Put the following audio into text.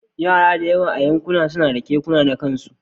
Yara da yawa a Yankunan F suna da kekuna na kansu